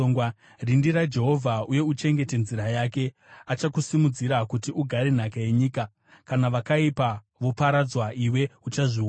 Rindira Jehovha, uye uchengete nzira yake. Achakusimudzira kuti ugare nhaka yenyika; kana vakaipa voparadzwa, iwe uchazviona.